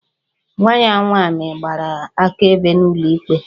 Nwa ya nwaanyị gbara akaebe n'ụlọ ikpe